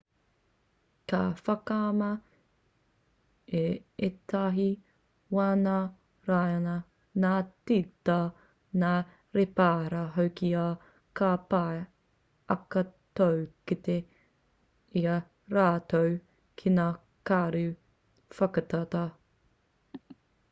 ka whakamā i ētahi wā ngā raiona ngā tīta ngā rēpara hoki ā ka pai ake tō kite i a rātou ki ngā karu whakatata